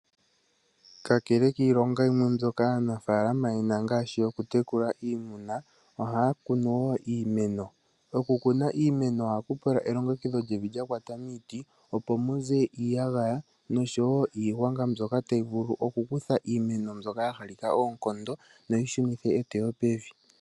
Kakele kiilonga yimwe mbyoka aanafaalama ye na ngaashi, okutekula iimuna, ohaa kunu wo iimeno . Okukuna iimeno ohaku pula elongekidho lyevi lya kwata miiti , opo mu ze iiyagaya, nosho wo iigwanga mbyoka tayi vulu okukutha iimeno mbyoka ya halika oonkondo, noyi shunithe eteyo pevi.